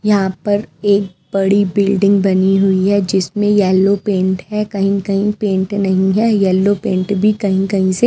यहां पर एक बड़ी बिल्डिंग बनी हुई है जिसमें येलो पेंट है कहीं कहीं पेंट नहीं है येलो पेंट भी कहीं कहीं से--